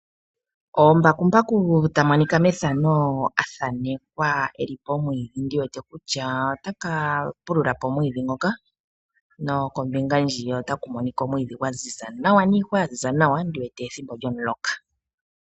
Oombakumbaku oyo haya longithwa methimbo lyo ngaashingeyi okupulula momapya moofalama nenge miikunino.